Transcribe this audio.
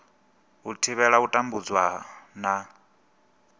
u thivhela u tambudzwa na